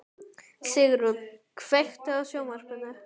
Sigrún, kveiktu á sjónvarpinu.